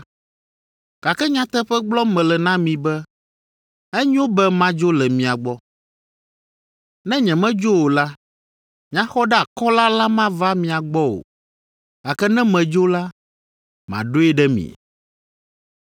Gake nyateƒe gblɔm mele na mi be enyo be madzo le mia gbɔ. Ne nyemedzo o la, Nyaxɔɖeakɔla la mava mia gbɔ o; gake ne medzo la, maɖoe ɖe mi.